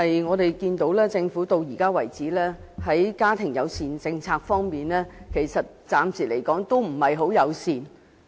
我們看到，直至目前為止，政府在家庭友善政策方面仍然不很友善。